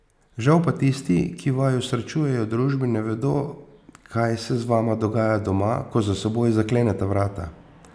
Žal pa tisti, ki vaju srečujejo v družbi, ne vedo, kaj se z vama dogaja doma, ko za seboj zakleneta vrata.